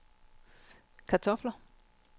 kartofler